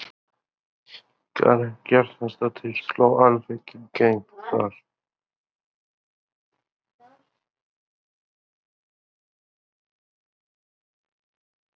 Karen Kjartansdóttir: Sló alveg í gegn þar?